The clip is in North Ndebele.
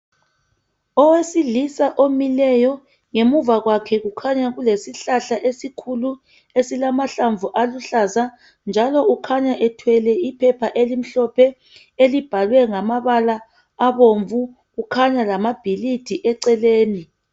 Owesilisa omileyo ngemuva kwakhe kukhanya kulesihlahla esikhulu esilamahlamvu aluhlaza njalo ukhanya ethwele iphepha elimhlophe elibhalwe ngamabala abomvu kukhanya lamabhilidi eceleni .